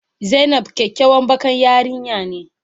Zainab kyakyawan bakan yarinya ne.